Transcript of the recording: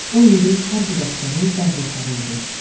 O indi hər bir əsgərin dərd ortağı idi.